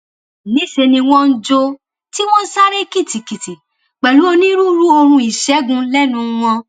níṣẹ ni wọn ń jó tí wọn ń sáré kìtìkìtì pẹlú onírúurú orin ìṣègùn lẹnu wọn